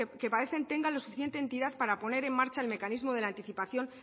que parece tengan la suficiente entidad para poner en marcha el mecanismo de la anticipación